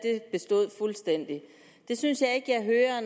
består fuldstændig og det synes